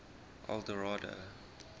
eldorado